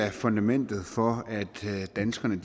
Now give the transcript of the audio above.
af fundamentet for at danskerne